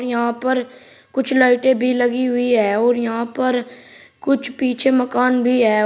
यहां पर कुछ लाइटें भी लगी हुई हैं और यहां पर कुछ पीछे मकान भी है।